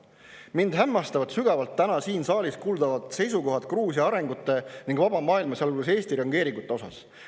Mind hämmastavad sügavalt täna siin saalis kuuldud seisukohad Gruusia arengute ning vaba maailma, sealhulgas Eesti reageeringute osas.